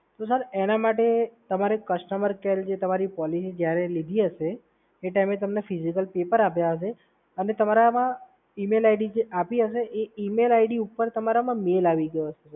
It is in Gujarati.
તો સર એના માટે કસ્ટમર કેર જે તમારે પોલિસી જ્યારે લીધી હશે એ ટાઈમે તમને ફિઝિકલ પેપર આપ્યા હશે અને તમારા ઈમેલ આઈડી જે આપી હશે એ ઈમેલ આઈડી ઉપર તમારામાં મેઇલ આવી ગયો હશે.